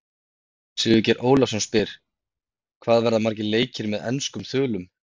Sigurgeir Ólafsson spyr: Hvað verða margir leikir með enskum þulum?